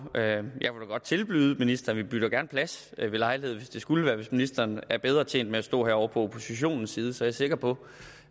jeg kunne godt tilbyde ministeren at bytte plads ved lejlighed hvis det skulle være hvis ministeren er bedre tjent med at stå herovre på oppositionens side er jeg sikker på